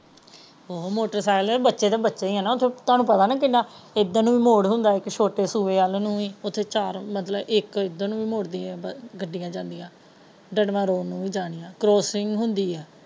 ਉਹ motor cycle ਹੈ ਬੱਚੇ ਤਾ ਬੱਚੇ ਹੀ ਹੈ ਤੁਹਾਨੂੰ ਪਤਾ ਹੈ ਨਾ ਉੱਧਰ ਨੂੰ ਵੀ ਮੁੜ ਹੈ ਛੋਟੇ ਸੂਏ ਵੱਲ ਨੂੰ ਵੀ ਗੱਡੀਆਂ ਜਾਂਦੀਆਂ ਰੋਡ ਨੂੰ ਵੀ ਕ੍ਰੋਸਸਿੰਗ ਹੁੰਦੀ ਹੈ।